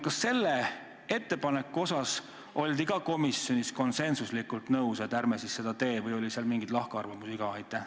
Kas selle ettepaneku asjus oldi ka komisjonis konsensuslikult nõus, et ärme siis seda teeme, või oli mingeid lahkarvamusi ka?